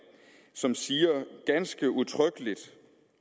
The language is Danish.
som siger ganske udtrykkeligt